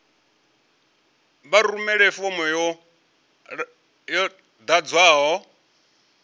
vha rumele fomo yo ḓadzwaho